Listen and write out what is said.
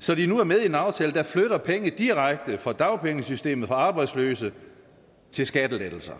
så de nu er med i en aftale der flytter penge direkte fra dagpengesystemet fra arbejdsløse til skattelettelser